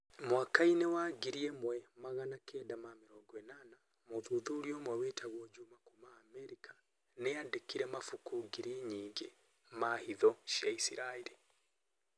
Mwaka-inĩ wa ngiri ĩmwe ma magana kenda ma mĩrongo ĩnana, mũthuthuria ũmwe wĩtagwo juma kuuma Amerika nĩ aandĩkire mabuku ngiri nyingĩ ma hitho cia Isiraeli.